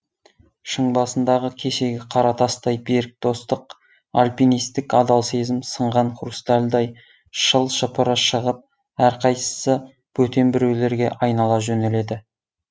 шың басындағы кешегі қара тастай берік достық альпинистік адал сезім сынған хрустальдай шыл шыпыры шығып әрқайсысы бөтен біреулерге айнала жөнеледі